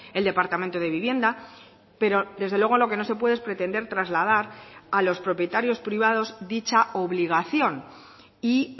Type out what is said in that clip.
el departamento de vivienda pero desde luego lo que no se puede es pretender trasladar a los propietarios privados dicha obligación y